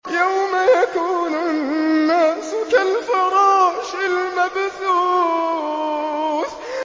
يَوْمَ يَكُونُ النَّاسُ كَالْفَرَاشِ الْمَبْثُوثِ